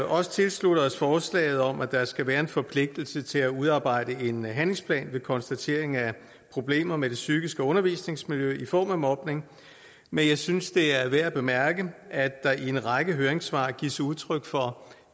også tilslutte os forslaget om at der skal være en forpligtelse til at udarbejde en handlingsplan ved konstatering af problemer med det psykiske undervisningsmiljø i form af mobning men jeg synes det er værd at bemærke at der i en række høringssvar gives udtryk for